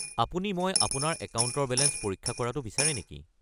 আপুনি মই আপোনাৰ একাউণ্টৰ বেলেঞ্চ পৰীক্ষা কৰাটো বিচাৰে নেকি?